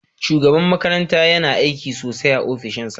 Shugaban makaranta yama aiki sosai a ofishinsa.